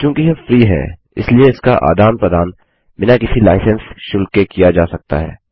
चूँकि यह फ्री है इसलिए इसका आदान प्रदान बिना किसी लाइसेंस शुल्क के किया जा सकता है